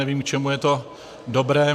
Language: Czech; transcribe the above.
Nevím, k čemu je to dobré.